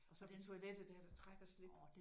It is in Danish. Og så på toilettet der er der træk og slip